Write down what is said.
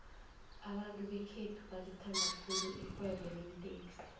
abantu bekhethu balithanda khulu irhwebo leentexi